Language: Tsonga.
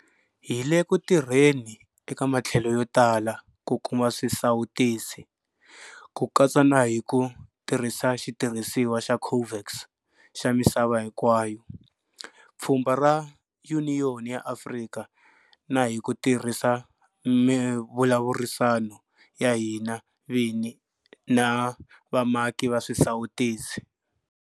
Hi le ku tirheni eka matlhelo yo tala ku kuma swisawutisi, ku katsa na hi ku tirhisa xitirhisiwa xa COVAX xa misava hinkwayo, pfhumba ra Yuniyoni ya Afrika na hi ku tirhisa mivulavurisano ya hina vini na vamaki va swisawutisi.